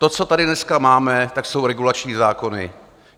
To, co tady dneska máme, tak jsou regulační zákony.